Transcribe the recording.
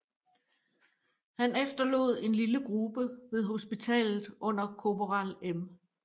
Han efterlod en lille gruppe ved hospitalet under korporal M